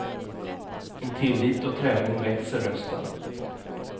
Med tillit och träning växer rösten.